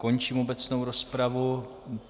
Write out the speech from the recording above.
Končím obecnou rozpravu.